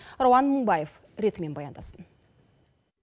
рауан мыңбаев ретімен баяндасын